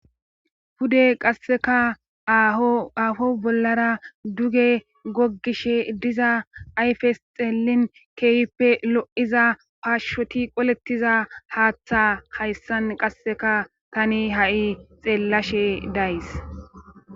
pude qasseka aafo bollara duge goggishe diza ayfes xeellin keehippe lo7iza paashshoti qolettiza haaththa hayssan qasseka tani ha7i xeellashe days